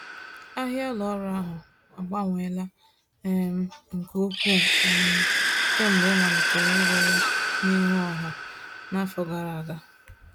Ahịa ụlọ ọrụ ahụ agbanweela um nke ukwuu um kemgbe e malitere ire ya n’ihu ọha n’afọ gara aga.